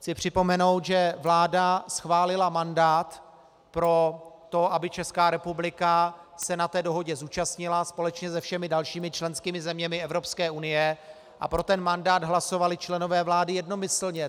Chci připomenout, že vláda schválila mandát pro to, aby Česká republika se na té dohodě zúčastnila společně se všemi dalšími členskými zeměmi Evropské unie, a pro ten mandát hlasovali členové vlády jednomyslně.